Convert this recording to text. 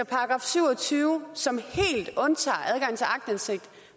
§ syv og tyve som helt undtager adgang til aktindsigt